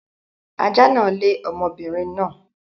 Ajá náà lé ọmọbinrin náà